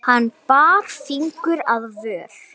Hann bar fingur að vör.